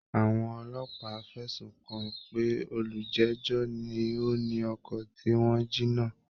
Àwọn ọlọ́pàá fẹ̀sùn kàn pé olùjẹ́jọ́ ni ó ni ọkọ̀ tí wọ́n jí náà